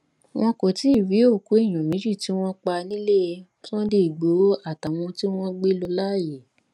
wọn kò tí ì rí òkú èèyàn méjì tí wọn pa nílẹ sunday igbodò àtàwọn tí wọn gbé lọ láàyè